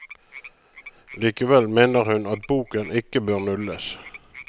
Likevel mener hun at boken ikke bør nulles.